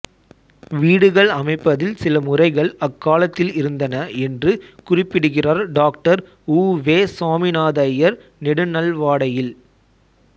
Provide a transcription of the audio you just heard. வீடுகள் அமைப்பதில் சில முறைகள் அக்காலத்தில் இருந்தன என்று குறிப்பிடுகிறார் டாக்டர் உ வே சாமிநாதையர் நெடுநல்வாடையில்